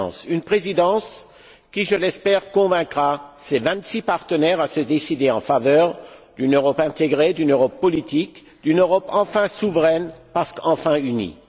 Une présidence qui, je l'espère, convaincra ses vingt six partenaires à se décider en faveur d'une Europe intégrée, d'une Europe politique, d'une Europe enfin souveraine, parce qu'enfin unie.